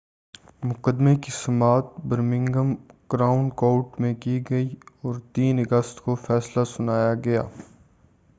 مقدمے کی سماعت برمنگھم کراؤن کورٹ میں کی گئی اور 3 اگست کو فیصلہ سنایا گیا